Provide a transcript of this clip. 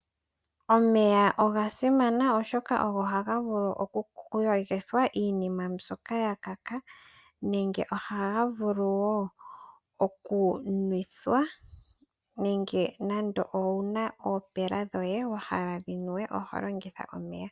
Omeya oga simana oshoka ohaga vulu oku yogithwa iinima mbyoka yakaka. Nenge oha ga vulu wo oku nwetha nande owuna oopela dhoye wa hala dhi nuwe oho longitha omeya.